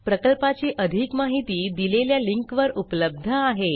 प्रकल्पाची अधिक माहिती दिलेल्या लिंकवर उपलब्ध आहे